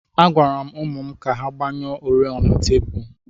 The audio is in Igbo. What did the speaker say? Agwara m ụmụ m ka ha gbanyụọ oriọna tebụl.